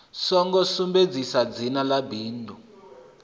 songo sumbedzisa dzina ḽa bindu